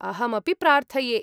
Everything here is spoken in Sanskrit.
अहमपि प्रार्थये।